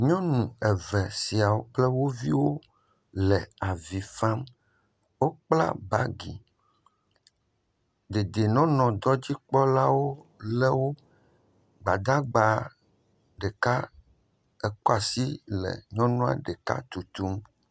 Nyɔnu eve siawo kple wo viwo le vi fam. Wokpla bagi. Dedienɔnɔdɔdzikpɔlawo le wo. Gbadagba ɖeka ekɔ asi le nyɔnua ɖeka tutum.